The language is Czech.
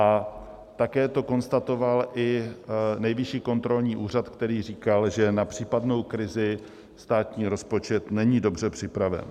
A také to konstatoval i Nejvyšší kontrolní úřad, který říkal, že na případnou krizi státní rozpočet není dobře připraven.